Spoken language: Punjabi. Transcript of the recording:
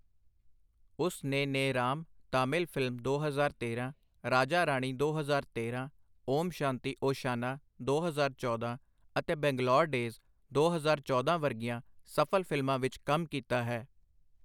ਉਸ ਨੇ ਨੇਰਾਮ(ਤਾਮਿਲ ਫ਼ਿਲਮ) ਦੋ ਹਜ਼ਾਰ ਤੇਰਾਂ , ਰਾਜਾ-ਰਾਣੀ ਦੋ ਹਜ਼ਾਰ ਤੇਰਾਂ , ਓਮ ਸ਼ਾਂਤੀ ਓਸ਼ਾਨਾ ਦੋ ਹਜ਼ਾਰ ਚੌਦਾ ਅਤੇ ਬੰਗਲੌਰ ਡੇਜ਼ ਦੋ ਹਜ਼ਾਰ ਚੌਦਾ ਵਰਗੀਆਂ ਸਫ਼ਲ ਫਿਲਮਾਂ ਵਿੱਚ ਕੰਮ ਕੀਤਾ ਹੈ।